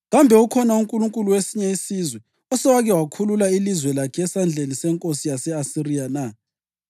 Kambe ukhona unkulunkulu wesinye isizwe osewake wakhulula ilizwe lakhe esandleni senkosi yase-Asiriya na?